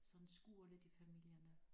Sådan skurer lidt i familierne